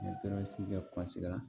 kɛ la